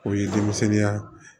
O ye denmisɛnya